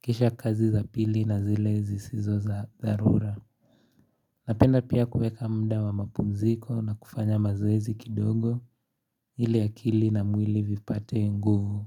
kisha kazi za pili na zile zisizo za dharura Napenda pia kuweka muda wa mapumziko na kufanya mazoezi kidogo ili akili na mwili vipate nguvu.